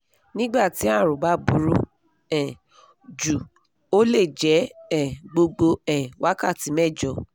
nígbà tí àrùn bá burú um jù ó le jẹ́ um gbogbo um wákàtí mẹ́jọ